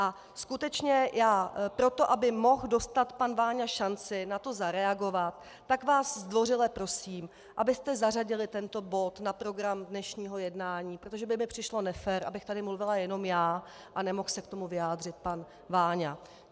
A skutečně já proto, abych mohl dostat pan Váňa šanci na to zareagovat, tak vás zdvořile prosím, abyste zařadili tento bod na program dnešního jednání, protože by mi přišlo nefér, abych tady mluvila jenom já a nemohl se k tomu vyjádřit pan Váňa.